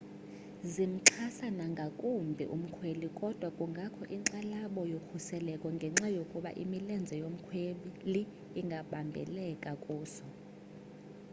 zimxhasa nangakumbi umkhweli kodwa kungakho inkxalabo ngokhuseleko ngenxa yokuba imilenze yomkhweli ingabambeka kuso